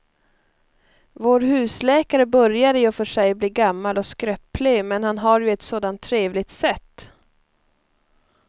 Vår husläkare börjar i och för sig bli gammal och skröplig, men han har ju ett sådant trevligt sätt!